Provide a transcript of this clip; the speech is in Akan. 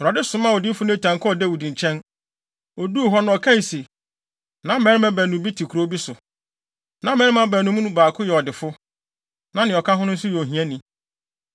Awurade somaa odiyifo Natan kɔɔ Dawid nkyɛn. Oduu hɔ no ɔkae se, “Na mmarima baanu bi te kurow bi so. Na mmarima no mu baako yɛ ɔdefo, na nea ɔka ho no nso yɛ ohiani.